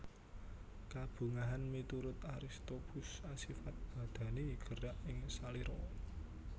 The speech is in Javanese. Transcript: Kabungahan miturut Aristoppus asifat badani gerak ing salira